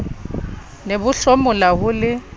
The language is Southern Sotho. ne bo hlomola ho le